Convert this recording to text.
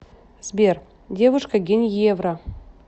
сбер девушка геньевра